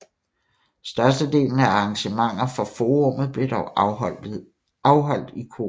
Størstedelen af arrangementer for Forumet blev dog afholdt i Koror